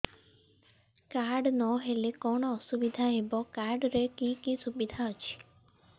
card ନହେଲେ କଣ ଅସୁବିଧା ହେବ କାର୍ଡ ରେ କି କି ସୁବିଧା ଅଛି